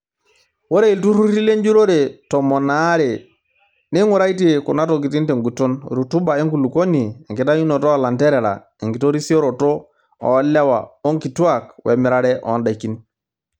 Ore iltururi lenjurore tomon aare neing'uraitie kunatokitin tenguton; Rutuba enkulukuoni, enkitayunoto oo lanterera, enkitorisioto oolewa onkitwaak wemirare oondakin.